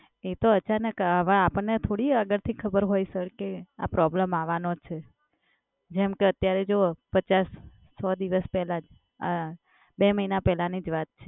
એ તો અચાનક આવે, હવે આપણને થોડી અંદરથી ખબર હોય સર કે આ problem આવવાનો જ છે? જેમ કે અત્યારે જો પચાસ-સો દિવસ પહેલા જ આ બે મહિના પહેલાંની જ વાત છે.